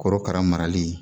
Korokara marali